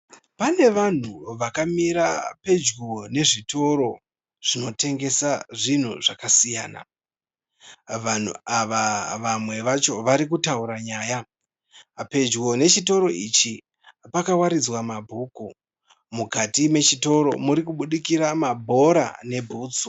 Pane vanhu vakamira pedyo nezvitoro zvinotengesa zvinhu zvakasiyana. Vanhu ava vamwe vacho varikutaura nyaya. Pedyo nechitoro ichi pakawaridzwa mabhuku. Mukati mechitoro muri kubudikira mabhora nebhutsu.